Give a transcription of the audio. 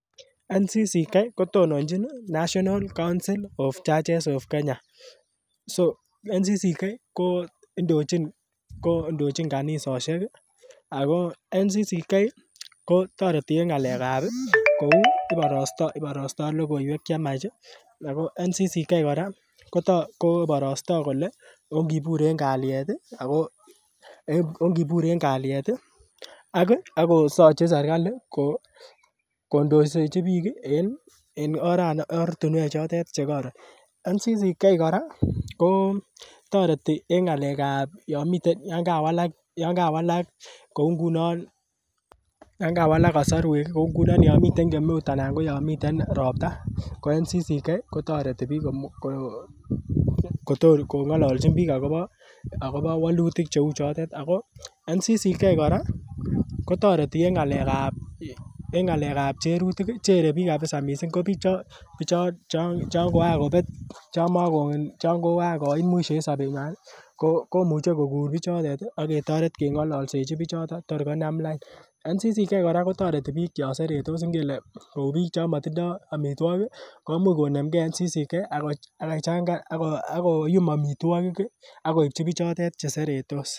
National Council of Churches of Kenya kotononjin National Council of Churches of Kenya so National Council of Churches of Kenya ko ndochin kanisosiek ako National Council of Churches of Kenya kotoreti en ng'alek ab kou iborostoo iborostoo logoiwek chemiach ako National Council of Churches of Kenya kora koborostoo kole ongibur en kalyet ih ako ongibur en kalyet ih ak kokochin serkali ko ndoisechi biik en ortinwek choton chekoron National Council of Churches of Kenya kora kotoreti en ng'alek ab yon miten yan kawalak koi ngunon yan kawalak kosorwek kou ngunon yon miten kemeut anan ko yon miten ropta ko National Council of Churches of Kenya kotoreti biik kong'olonchin akobo wolutik cheu chotet ako National Council of Churches of Kenya kora kotoreti en ng'alek ab cherutik chere biik kabisa missing ko bichon chon koan kobet chon koan koit mwisho en sobet nywan ih komuche koker bichotet ih ak ketoret keng'ololsechi bichoton tor konam lain National Council of Churches of Kenya kora kotoreti biik chon seretos kou biik chon motindoo amitwogik ih komuch ko nemgee National Council of Churches of Kenya ak koyum amitwogik ih ak koipchi bichotet cheseretos